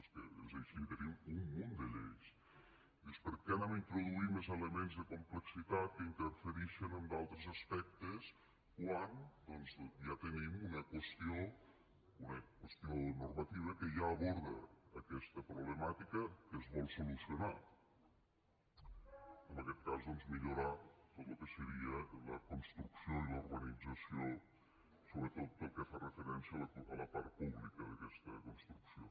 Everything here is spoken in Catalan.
és que és així tenim un munt de lleis dius per què introduïm més elements de complexitat que interferixen en d’altres aspectes quan doncs ja tenim una qüestió normativa que ja aborda aquesta problemàtica que es vol solucionar en aquest cas doncs millorar tot lo que seria la construcció i la urbanització sobretot pel que fa referència a la part pública d’aquesta construcció